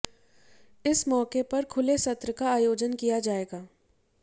इस मौके पर खुले सत्र का आयोजन किया जाएगा